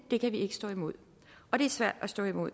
ikke stå imod og det er svært at stå imod